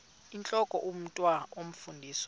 intlok omntwan omfundisi